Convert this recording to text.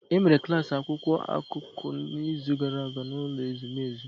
E mere klas akwụkwọ akụkọ n’izu gara aga n’ụlọ ezumezu